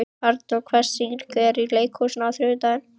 Anor, hvaða sýningar eru í leikhúsinu á þriðjudaginn?